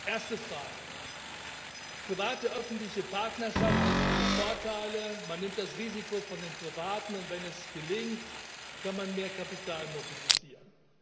Erste Frage Öffentlich private Partnerschaft hat viele Vorteile, man nimmt das Risiko von den Privaten, und wenn es gelingt, kann man mehr Kapital mobilisieren.